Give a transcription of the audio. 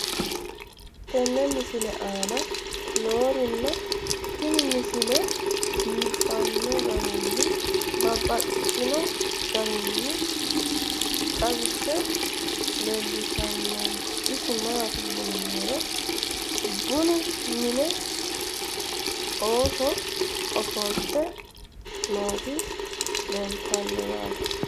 tenne misile aana noorina tini misile biiffanno garinni babaxxinno daniinni xawisse leelishanori isi maati yinummoro bunnu mine ooso offolitte nootti leelittanno yaatte